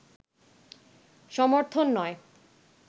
সমর্থন নয়